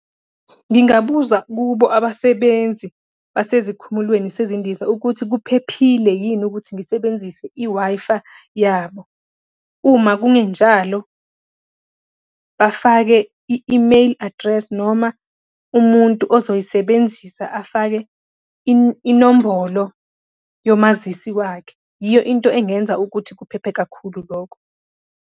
Ngingabuza kubo abasebenzi basezikhumulweni sezindiza ukuthi kuphephile yini ukuthi ngisebenzise i-Wi-Fi yabo. Uma kungenjalo, bafake i-email address, noma umuntu ozoyisebenzisa afake inombolo yomazisi wakhe. Yiyo into engenza ukuthi kuphephe kakhulu lokho.